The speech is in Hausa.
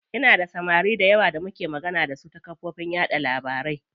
Ina da samari dayawa da muke magana dasu ta kafofin yaɗa labarai.